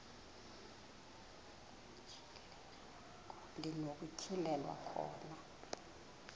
ndi nokutyhilelwa khona